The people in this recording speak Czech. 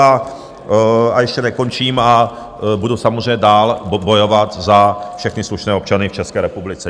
A ještě nekončím a budu samozřejmě dál bojovat za všechny slušné občany v České republice.